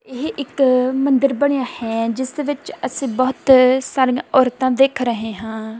ਇਹ ਇੱਕ ਮੰਦਰ ਬਣਿਆ ਹੈ ਜਿਸ ਦੇ ਵਿੱਚ ਅਸੀਂ ਬਹੁਤ ਸਾਰੀਆਂ ਔਰਤਾਂ ਦੇਖ ਰਹੇ ਹਾਂ।